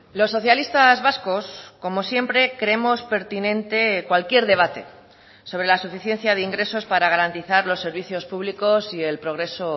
los socialistas vascos como siempre creemos pertinente cualquier debate sobre la suficiencia de ingresos para garantizar los servicios públicos y el progreso